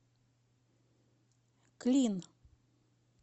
клин